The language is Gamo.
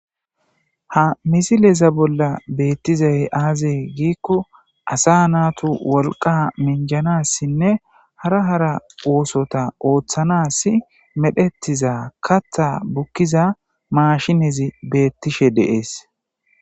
Ha missileza bola betizay aze giko asa natu woliqa minganasinne hara hara osota otanasi medhetiza katha bukiza mashinnezi betishe de'es.